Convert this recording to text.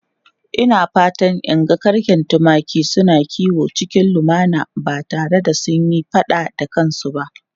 Ina fatan in ga garken tumaki suna kiwo cikin lumana ba tare da sun yi fada da kansu ba.